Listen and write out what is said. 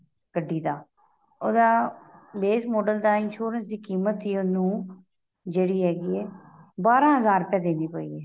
ਗੱਡੀ ਦਾ ਉਹਦਾ base model ਦਾ insurance ਦੀ ਕੀਮਤ ਹੀ ਉਹਨੂੰ ਜਿਹੜੀ ਹੈਗੀ ਏ ਬਾਰਾਂ ਹਜ਼ਾਰ ਰੁਪਏ ਦੇਣੀ ਪਈ ਏ